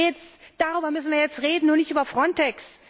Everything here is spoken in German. Darum geht es, darüber müssen wir jetzt reden, und nicht über Frontex!